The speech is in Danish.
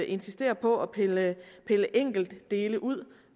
insisterer på at pille pille enkeltdele ud og